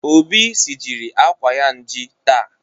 Obi sijiri akwa nji taa